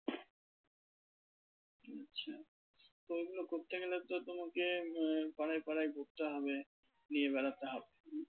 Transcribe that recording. তো এগুলো করতে গেলে তো তোমাকে আহ পাড়ায় পাড়ায় ঘুরতে হবে নিয়ে বেড়াতে হবে।